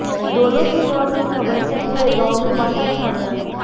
दोनों की मौत की खबर से पूरे गांव में मातम छा गया